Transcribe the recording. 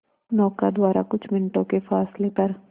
नौका द्वारा कुछ मिनटों के फासले पर